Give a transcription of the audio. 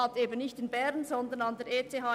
Tatsächlich hat er an der ETH